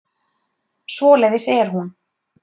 Svoleiðis er hún.